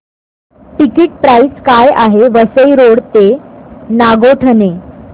ticket price काय आहे Vasai road ते नागोठणे